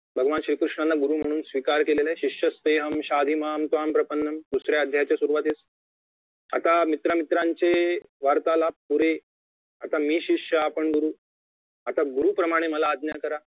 भगवान श्री कृष्णांना गुरु म्हणून स्वीकार केलेलं आहे शिष्यस्तेहं शाधि मां त्वां प्रपन्नम दुसरा अध्यायाच्या सुरवातीला आता मित्रामित्रांचा वार्तालाभ पुरे आता मी शिष्य आपण गुरु आता गुरु प्रमाणे मला आज्ञा करा